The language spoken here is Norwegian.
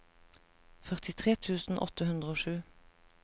førtitre tusen åtte hundre og sju